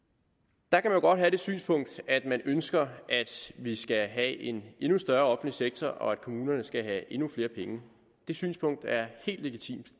der kan man jo godt have det synspunkt at man ønsker at vi skal have en endnu større offentlig sektor og at kommunerne skal have endnu flere penge det synspunkt er helt legitimt